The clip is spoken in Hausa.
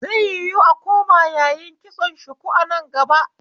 Zai yiwu a koma yayin kitson shuku a nan gaba